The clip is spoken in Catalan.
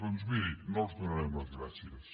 doncs miri no els donarem les gràcies